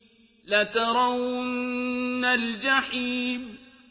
لَتَرَوُنَّ الْجَحِيمَ